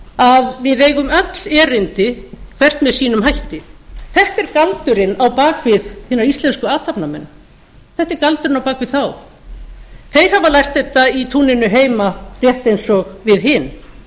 að við eigum öll erindi hvert með sínum hætti þetta er galdurinn á bak við hina íslensku athafnamenn þeir hafa lært þetta í túninu heima rétt eins og við hin